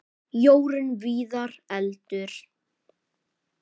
Jórunn Viðar: Eldur.